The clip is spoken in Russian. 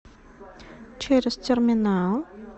через терминал